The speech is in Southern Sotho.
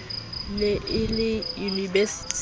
ne a le unibesiting o